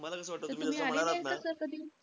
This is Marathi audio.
तुम्ही आलेले आहेत का sir कधी?